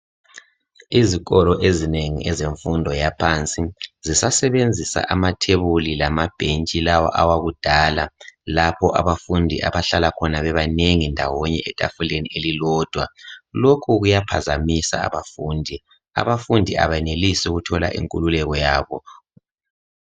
Izikolo ezinengi ezemfundo yaphansi, zisazebenzisa amathebuli lamabhentsi lawa awakudala, lapho abafundi abahlala khona bebanengi, ndawonye, etafuleni elilodwa. Lokhu kuyaphazamisa abafundi. Abafundi abenelisi ukuthola inkululeko yabo.